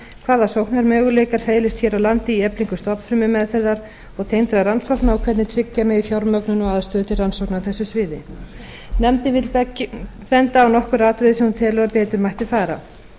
hvaða sóknarmöguleikar felist hér á landi í eflingu stofnfrumumeðferðar og tengdra rannsókna og hvernig tryggja megi fjármögnun og aðstöðu til rannsókna á þessu sviði nefndin vill benda á nokkur atriði sem hún telur að betur mættu fara